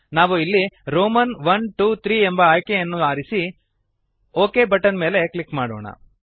ನಾವು ಇಲ್ಲಿ ರೋಮನ್ iiiಐಐ ಎಂಬ ಆಯ್ಕೆಯನ್ನು ಆರಿಸಿ ಒಕ್ ಬಟನ್ ಮೇಲೆ ಕ್ಲಿಕ್ ಮಾಡೋಣ